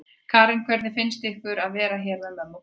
Karen: Hvernig finnst ykkur að vera hérna með mömmu og pabba?